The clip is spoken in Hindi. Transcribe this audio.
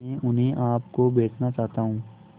मैं उन्हें आप को बेचना चाहता हूं